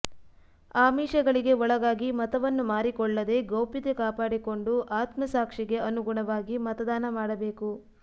ಆಮಿಷಗಳಿಗೆ ಒಳಗಾಗಿ ಮತವನ್ನು ಮಾರಿಕೊಳ್ಳದೇ ಗೌಪ್ಯತೆ ಕಾಪಾಡಿ ಕೊಂಡು ಆತ್ಮಸಾಕ್ಷಿಗೆ ಅನುಗುಣವಾಗಿ ಮತದಾನ ಮಾಡಬೇಕು